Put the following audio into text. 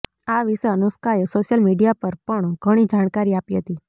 આ વિશે અનુષ્કાએ સોશિયલ મીડિયા પર પણ ઘણી જાણકારી આપી હતી